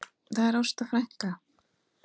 Það er Ásta frænka.